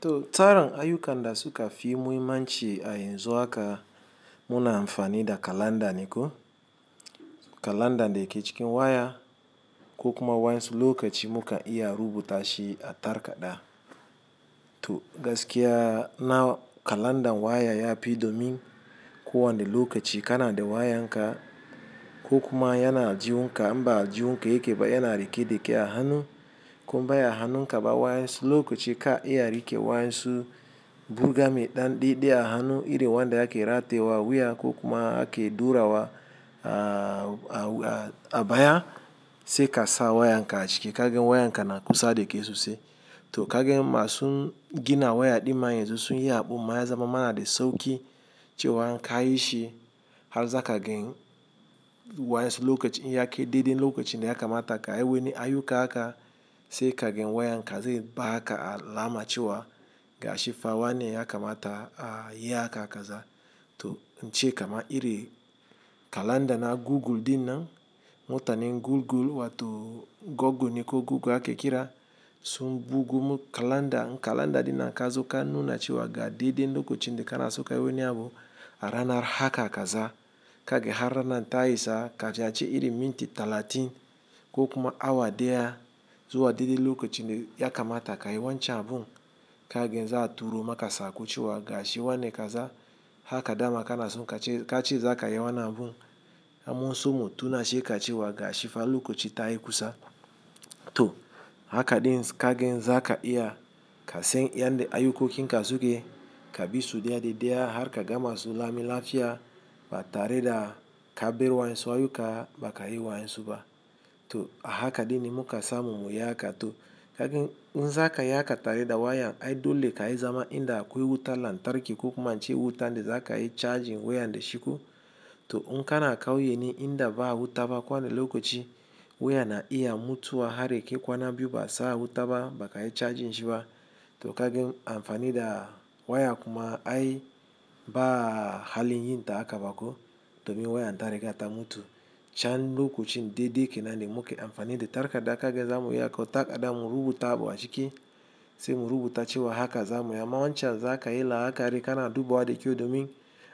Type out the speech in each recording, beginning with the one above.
To tsarin ayyukan da suka fi muhimanci a yanzu haka muna amfani da kalanda ne ko. Kalanda da yake cikin waya ko kuma waƴansu lokaci muka iya rubuta shi a tarkada. To gaskiya na kalandan waya yafi domin ko wanda lokaci kana da wayanka ko kuma yana aljihunka in ba aljihunka yake ba yana riƙe da kai a hannu ko in ba ya hannun ka ba waƴan lsu lokaci ka iya riƙe waƴan lsu buga me ɗan daidai a hannu irin wanda ake rateyewa a wuya ko kuma ake ɗura wa a baya sai ka sa wayan ka a ciki. Kaga wayan ka na kusa da kai sosai. To kagan masu gina waya ɗin ma yanzu sun yi abun ma ya zama mana da sauki cewa in kayi shi har zaka gan waƴansu lokaci in ya kai daidai lokacin da ya kamata ka yi wani ayyuka haka sai ka gan wayan ka zai ba ka alama cewa ga shi fa wane ya kamata a yi haka kaza. To ince kama irin kalanda na Google dinnan mota ne Google wato Google ne ko Google ake kira su bugu mu kalanda. Kalanda dinnan ka zo ka nuna cewa ga daɗe lokacin da kana so ka yi wani abu a rana haka haka za. Kake har rana ta isa ka ce iri minti talatin ko kuma awa ɗaya zuwa daidai lokacin da ya kamata ka yi wancan abun ka gan za a turo maka sako cewa gashi wane kaza haka dama kana son ka ce zaka yi wannan abun. Amma mun so mu tunashe ka cewa ga shifa lokaci ta yi kusa. To haka ɗin kagan zaka iya ka san yanda ayyukokin ka suke ka bi su dai ɗaya da ɗaya harka gama su lami lafiya ba tare da ka bar waƴansu ayyuka ba ka yi waƴansu ba. To a haka din ne muka samu mu yi haka. To ka gan in za ka yi haka tare da wayan ai dole ka yi zama inda akwai wutan lantarki ko kuma an ce wuta ne za ka yi charging wayan da shi ko. To in kana kauye ne inda ba a wuta ba ko wanda lokaci wayan na iya mutuwa har yake kwana biyu ba sa a wuta ba ba ka yi charging shi ba. To ka gan amfani da waya kuma ai ba hali yin ta haka ba ko domin wayan ta riga ta mutu. Can lokacin ɗeɗe kenan ne muke amfani da tarkada ka gan zamu yi kawo takada mu rubuta abu a ciki sai mu rubuta cewa haka zamu yi amma wancan za ka yi la'akari kana dubawa da kyau domin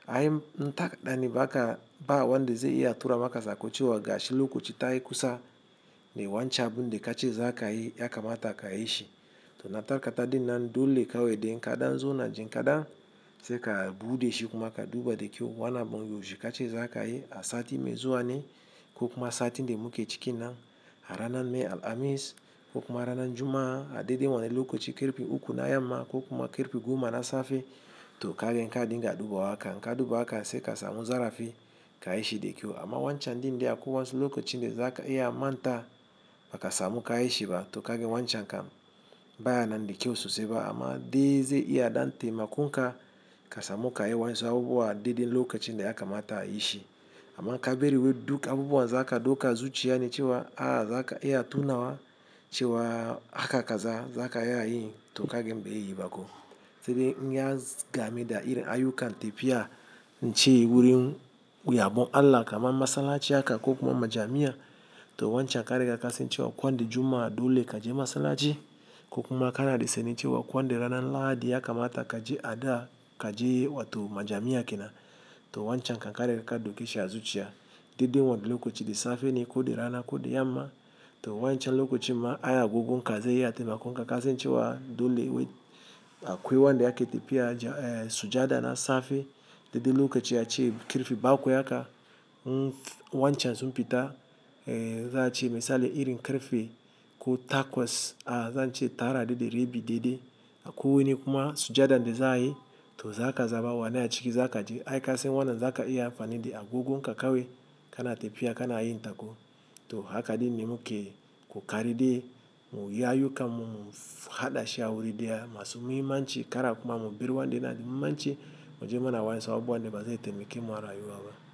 ai in takada ne ba ka ba wanda zai iya a tura maka sako cewa ga shi lokaci ta yi kusa ne wancan abun da ka ce za ka yi ya kamata ka yi shi. To na tarkada dinnan dole kawai ɗai in ka ɗan zona jin kaɗan sai ka buɗe shi kuma ka dubawa da ke wannan abun yau she kace za ka yi a sati mai zuwa ne ko kuma satin da muke cikin nan a rana mai alhamis ko kuma rana jumma'a a daidan wanda lokaci karfi uku na yamma ko kuma karfi goma na safe. To ka gan kaɗinga dubawa haka in ka dubawa haka sai ka samu zarafi ka yi shi da kyau amma wancan din da akwai wasu lokacin da za ka iya manta ba ka samu ka yi shi ba. To ka gan wancan kam baya nan da ke sosai ba amma dai ze iya a ɗan taimakon ka ka samu ka yi wayansu abubuwa daidai lokacin da ya kamata a yi shi. Amma ka bari wai duk abubuwa za ka dauka zuciya ne cewa a za ka iya tunawa cewa haka kaza za ka iya yi to ka gan bai yi ba ko. Sai dai in ya gami da irin ayukan tepiya ince wurin yaɓon Allah kaman masallaci haka ko kuma majami'a. To wancan ka riga ka san cewa ko wanda jumma'a dole ka je masallaci ko kuma kana da seni cewa ko wanda ranan lahadi ya kamata ka je addu'a ka je wato majami'a kenan. To wancan kam ka riga ka doke shi a zuciya daɗe wanda lokaci da safe ne ko da rana ko da yamma. To wancan lokacin ma ai agogon ka zai iya taimakon ka ka san cewa dole wai akwai wanda yake tepiya sujada na safe daidai lokaci ya ce karfe bakwai haka wancan sun fita za a ce misali irin karfe ko takwas a zan ce tara dai da rabi daidai akwai wane kuma sujadan da za a yi to za ka zaba wane a ciki za ka je ai ka san wanan za ka iya amfani da agogon ka kawai kana tepiya kana yinta ko. To haka din ne muke kokari dai mu yi ayukan mu mu hada shi a wurin diya masu muyimanci kara kuma mu bar wanda yana da mahummanci mu je mana wayansu abubuwan da ba zai taimaki mu a rayuwa ba.